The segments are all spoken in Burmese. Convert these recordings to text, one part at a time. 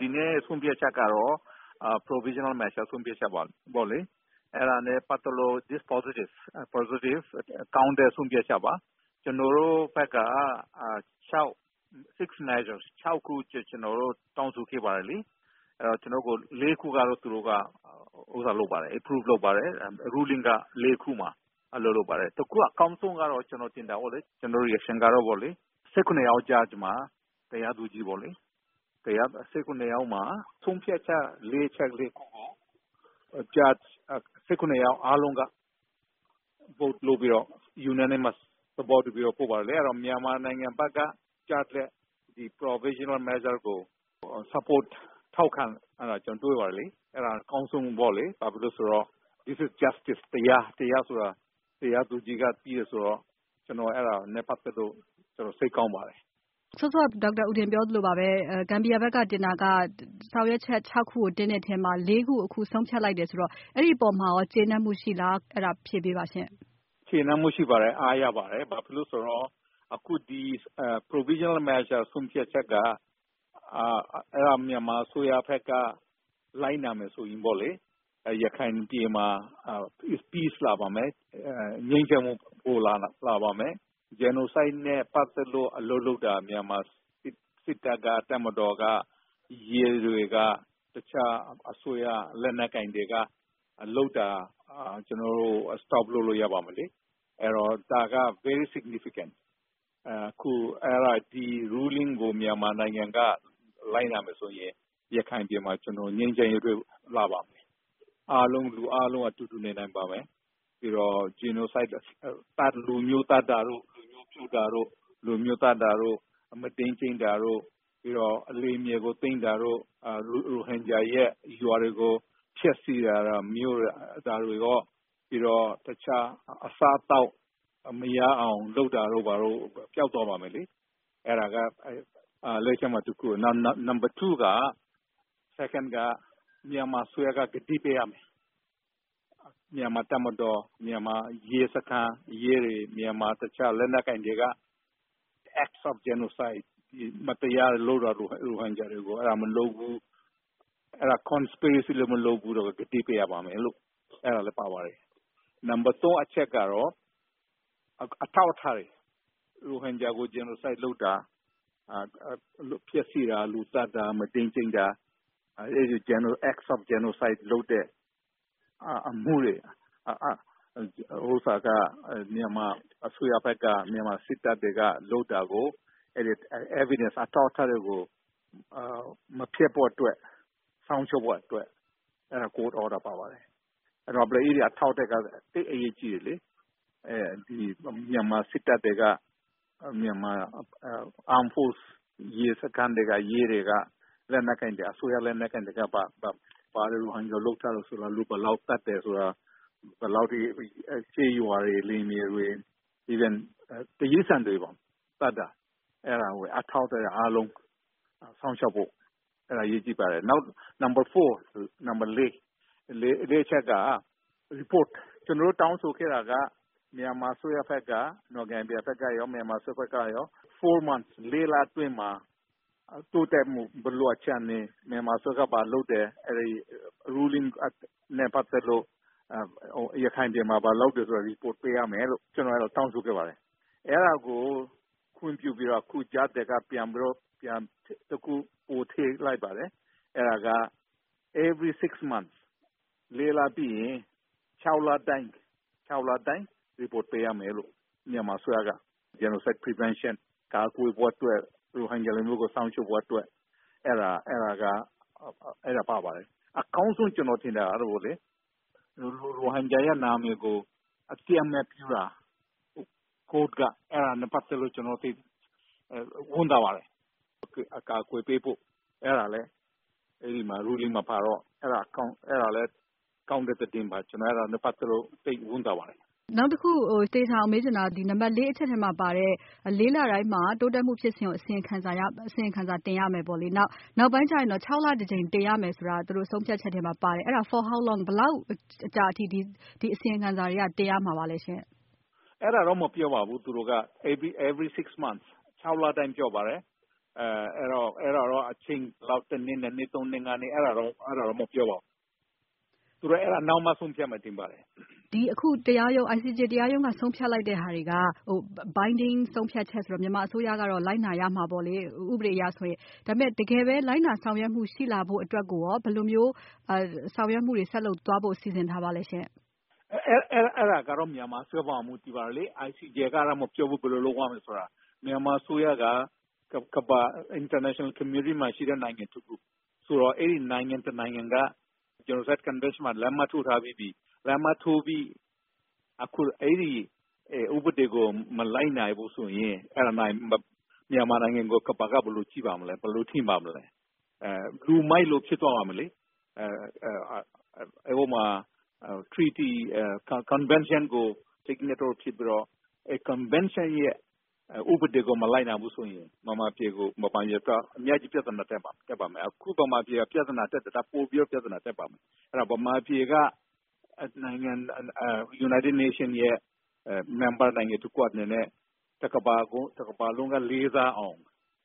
ဒီနေ့ဆုံးဖြတ်ချက်ကတော့ Provisional Measure ဆုံးဖြတ်ချက်ပေါ့လေ။ အဲဒါနဲ့ ပတ်သက်လို့ ကောင်းတဲ့ဆုံးဖြတ်ချက်ပေါ့နော်။ ကျနော်တို့ဘက်က အချက် ၆ ချက် ကျနော်တို့ တောင်းဆိုခဲ့တယ်။ ၄ ခုကိုတော့ သူတို့ approve လုပ်ပါတယ်။ တခုအကောင်းဆုံးကတော့ ကျနော်ထင်တယ် တရားသူကြီး ၁၇ ယောက်မှာ ဆုံးဖြတ်ချက်ကို ၁၇ ယောက်စလုံးက vote လုပ်တယ်။ အဲဒီတော့ မြန်မာနိုင်ငံဘက်ကို ချတဲ့ ဒီ Provisional Measure ဆုံးဖြတ်ချက်ကို ထောက်ခံတာက အကောင်းဆုံးပေါ့လေ။ ဘာဖြစ်လို့လဲဆိုတော့ This is Justice ၊ ဒါက တရား ဒါကို တရားသူကြီးက သိတယ်ဆိုတော့ ဒါနဲ့ ပတ်သက်လို့ ကျနော်စိတ်ကောင်းပါတယ်။ Gambia ဘက်က တင်တာက ဆောင်ရွက်ချက် ၆ ခုကို တင်တဲ့အထဲမှာ ၄ ခုကိုတော့ အခုဆုံးဖြတ်လိုက်တယ်ဆိုတော့ အဲဒီအပေါ်မှာရော ကျေနပ်မှုရှိပါသလား။ ကျေနပ်မှုရှိတယ်၊ အားရပါတယ်။ ဘာဖြစ်လို့ဆိုတော့ အခုဒီ Provisional Measure ဆုံးဖြတ်ချက်က အဲဒါကို မြန်မာအစိုးရဘက်က လိုက်နာမယ်ဆိုရင်ပေါ့လေ ရခိုင်ပြည်မှာ ငြိမ်းချမ်းမှု ရှိလာမယ်။ Genocide နဲ့ ပတ်သက်လို့ မြန်မာစစ်တပ်၊ တပ်မတော်က၊ ရဲတွေ၊ တခြားလက်နက်ကိုင်တွေ လုပ်တာ ကျနော်တို့ ရပ်လို့ရပါမယ်။ ဒါက တကယ့်ကို Significant ပါ။ အခုအဲဒါ ဒီဆုံးဖြတ်ချက်ကို မြန်မာနိုင်ငံလိုက်နာမယ်ဆိုရင် ရခိုင်ပြည်မှာ ငြိမ်းချမ်းမှု ရှိလာမယ်။ အားလုံးအတူတူနေနိုင်မယ်၊ ပြီးတော့ Genocide ၊ လူမျိုးတုံးတာတို့ ၊ သတ်တာ ၊ မုဒိမ်းကျင့်တာတို့ ၊ လယ်မြေသိမ်းတာတို့၊ ရိုဟင်ဂျာရွာတွေကို ဖျက်ဆီးတာမျိုးတွေ ဒါတွေရော အစားအသောက်မရအောင် လုပ်တာတို့ ပျောက်သွားမယ်။ နောက် ဒုတိယအချက်က မြန်မာအစိုးရက ကတိပေးရမယ်။ မြန်မာ့တပ်မတော်၊ ရဲစခန်း ရဲတွေ ၊ တခြားလက်နက်ကိုင်တွေက ရိုဟင်ဂျာတွေကို Act of Genocide၊ မတရားလုပ်တာတို့ မလုပ်ဘူးဆိုတဲ့ ကတိပေးရပါမယ်။ နံပတ် ၃ အချက်ကတော့ ရိုဟင်ဂျာတွေကို Genocide လုပ်တာ၊ အထောက်အထားတွေ ဖျက်ဆီးတာ ၊ လူသတ်တာ၊ မုဒိမ်းကျင့်တာ အဲဒီလို Act of Genocide လုပ်တဲ့ အမှုရဲ့ အထောက်အထားတွေကို မဖျက်ဆီးဖို့အတွက် စောင့်ရှောက်ဖို့အတွက် အဲဒါ တရားရုံးဆုံးဖြတ်ချက်ပါပါတယ်။ ဒီအထောက်အထားက သိပ်အရေးကြီးတယ်လေ။ မြန်မာစစ်တပ်တွေ၊ ရဲတွေ၊ အစိုးရလက်နက်ကိုင်တွေက လူဘယ်လောက် သတ်တယ်ဆိုတာ ၊ ကျေးရွာ၊ လယ်မြေတွေ တိရိစ္ဆာန်တွေကိုတောင် သတ်တာ အဲဒီ အထောက်အထားတွေအားလုံး စောင့်ရှောက်ဖို့အရေးကြီးတယ်။ နောက် ၄ အချက်က ကျနော်တို့ တောင်းဆိုခဲ့တာက Gambia ဘက်ကရော၊မြန်မာအစိုးရဘက်ကရော ၄ လအတွင်းမှာ တိုးတက်မှု ဘယ်လိုအခြေအနေဖြစ်ပြီလဲ အဲဒီ ဆုံးဖြတ်ချက်နဲ့ ပတ်သက်လို့ ရခိုင်ပြည်မှာ ဘာလုပ်တယ်ဆိုတာတွေကို အစီရင်ခံရမယ်လို့ ကျနော်တို့ အဲလိုတောင်းဆိုခဲ့ပါတယ်။ အဲဒါကို ခွင့်ပြုပြီးတော့ အခုကြားထဲမှာ နောက်တခု ပြန်ထည့်လိုက်ပါတယ်။ အဲဒါကတော့ အခု ၄ လပြီးရင် ၆ လတိုင်း report ပေးရမယ်လို့ မြန်မာအစိုးရက Genocide prevention ရိုဟင်ဂျာတွေကို ကာကွယ်ဖို့အတွက်၊ စောင့်ရှောက်ဖို့အတွက် အဲဒါ ပါပါတယ်။ အကောင်းဆုံးကတော့ ကျနော်ထင်တာကတော့ ရိုဟင်ဂျာနာမည်ကို တရားရုံးကအသိအမှတ်ပြုတာ အဲဒါနဲ့ ပတ်သက်လို့ ကျနော်ဝမ်းသာပါတယ်။ နောက်ပြီးတော့ ရိုဟင်ဂျာတွေကို အကာအကွယ်ပေးဖို့ အဲဒါကလည်း ဆုံးဖြတ်ချက်မှာပါတော့ ကောင်းတဲ့သတင်းပါ အဲဒါနဲ့ ပတ်သက်လို့ ကျနော်ဝမ်းသာပါတယ်။ နံပတ် ၄ အချက်မှာပါတဲ့ ၄ လတိုင်းမှာ တိုးတက်မှု ဖြစ်စဉ်ကို အစီရင်ခံတင်ရမယ် ၊ နောက်ပိုင်းမှာ ၆ လတကြိမ်တင်ရမယ် ဆိုတာ ဆုံးဖြတ်ချက်မှာပါတယ် ။ အဲဒါက ဘယ်လောက်ကြာကြာအထိ ဒီအစီရင်ခံစာတွေက တင်ရမှာပါလဲ။ အဲဒါတော့ မပြောဘူးသူတို့က ၊ သူတို့ ၆ လတိုင်းပဲ ပြောတယ်။ ဘယ်နှစ်နှစ်ဆိုတာတော့ မပြောဘူး ။ သူတို့အဲဒါ နောက်မှ ဆုံးဖြတ်မယ်ထင်ပါတယ်။ အခု ICJ တရားရုံးက ဆုံးဖြတ်လိုက်တာတွေက မြန်မာအစိုးရက လိုက်နာရမှာပေါ့နော် ဥပဒေအရဆိုရင် ။ ဒါပေမယ့် တကယ်ပဲ လိုက်နာဆောင်ရွက်မှု ရှိလာဖို့အတွက်ကို ဘယ်လိုမျိုးဆောင်ရွက်မှုတွေရှိလာဖို့အတွက် ဘယ်လိုစီစဉ်ထားပါသလဲ။ အဲဒါတော့ မြန်မာအစိုးရအပေါ် မူတည်ပါတယ်လေ။ ICJ ကတော့ မပြောဘူး ဘယ်လိုလုပ်ရမယ်ဆိုတာ မြန်မာအစိုးရက နိုင်ငံတကာအသိုင်းအဝိုင်းမှာရှိတဲ့ နိုင်ငံ တခုဆိုတော့ အဲဒီ နိုင်ငံတနိုင်ငံ က Genocide convention မှာ လက်မှတ်ထိုးထားပြီးပြီ ။ အခုအဲဒီ ဥပဒေကို မလိုက်နာဘူးဆိုရင် မြန်မာနိုင်ငံကို ကမ္ဘာက ဘယ်လိုကြည့်မလဲ ၊ ဘယ်လိုထင်မလဲ လူမိုက်လိုဖြစ်သွားမယ်လေ ။ အဲဒီ Convention ကို လက်မှတ်ထိုးပြီးတော့ Convention ဥပဒေကို မလိုက်နာဘူးဆိုရင် မြန်မာပြည်အတွက်အများကြီး ပြဿနာ တက်မယ်။ အခုတောင်မှ ပြဿနာတက်နေတာ ပိုပြီးတော့ ပြဿနာတက်မယ်။ မြန်မာပြည်က UN ရဲ့ အဖွဲ့ဝင်နိုင်ငံတခုအနေနဲ့ တကမ္ဘာလုံးက လေးစားအောင်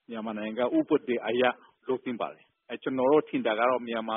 မြန်မာနိုင်ငံက ဥပဒေကို လိုက်နာသင့်တယ်။ ကျနော်တို့ထင်တာကတော့ မြန်မာ